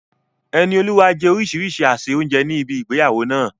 Enioluwa jẹ orísìírísìí àsè oúnjẹ ní ibi ìgbéyàwó náà.